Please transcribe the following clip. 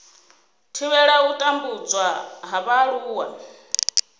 thivhela u tambudzwa ha vhaaluwa